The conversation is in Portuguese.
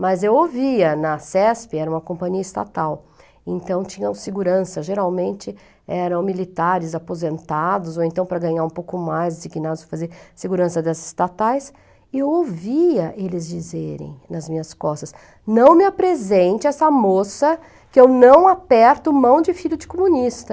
Mas eu ouvia na CESP, era uma companhia estatal, então tinham segurança, geralmente eram militares aposentados, ou então para ganhar um pouco mais, designados para fazer segurança das estatais, e eu ouvia eles dizerem nas minhas costas, não me apresente essa moça que eu não aperto mão de filho de comunista.